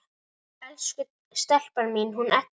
Elsku stelpan mín, hún Edda!